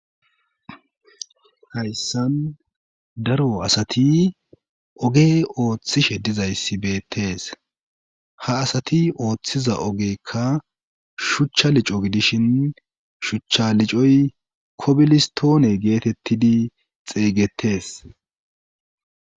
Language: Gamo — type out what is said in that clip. Hayssan daro asati oge ooththishe dizayssi beettees ha asati ooththiza ogekka shuchcha lico gidishin shuchcha licoy kobilistoone geetettidi xeeygettees